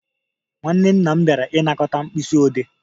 Nwanne nna m bịara ịnakọta Mkpisiode